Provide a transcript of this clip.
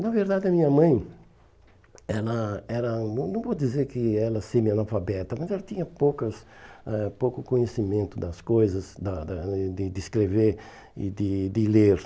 Na verdade, a minha mãe, ela ela não não vou dizer que ela era semi-analfabeta, mas ela tinha poucas ãh pouco conhecimento das coisas, da da de de escrever e de de ler.